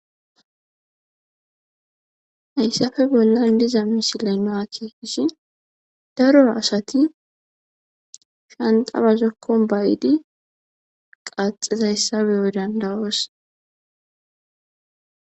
Hayssafe bollan diza misilenaakeeishi daro asati shanxabazokkon bayiidi qaxezayssabeyo dandawoos.